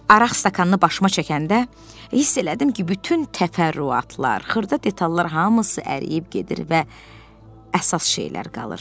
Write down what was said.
Araq stəkanını başıma çəkəndə, hiss elədim ki, bütün təfərrüatlar, xırda detallar hamısı əriyib gedir və əsas şeylər qalır.